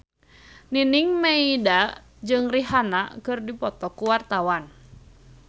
Nining Meida jeung Rihanna keur dipoto ku wartawan